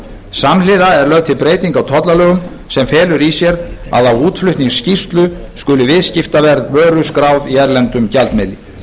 samhliða er lögð til breyting á tollalögum sem felur í sér að á útflutningsskýrslu skuli viðskiptaverð vöru skráð í erlendum gjaldmiðli